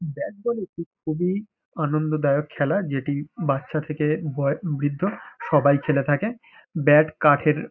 Bat ball একটি খুবই আনন্দদায়ক খেলা যেটি বাচ্চা থেকে বয় বৃদ্ধ সবাই খেলে থাকে। ব্যাট কাঠের--